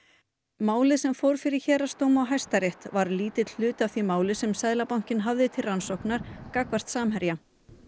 málið sem fór fyrir héraðsdóm og Hæstarétt var lítill hluti af því máli sem Seðlabankinn hafði til rannsóknar gagnvart Samherja